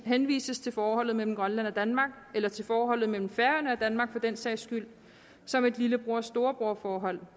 henvises til forholdet mellem grønland og danmark eller til forholdet mellem færøerne og danmark for den sags skyld som et lillebror storebror forhold